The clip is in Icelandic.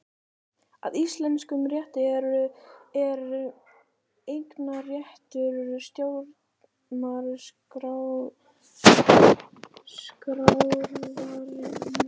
Að íslenskum rétti er eignarréttur stjórnarskrárvarinn